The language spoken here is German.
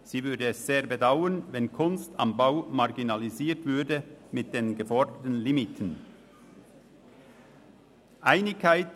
Sie würde es sehr bedauern, wenn «Kunst am Bau» mit den geforderten Limiten marginalisiert würde.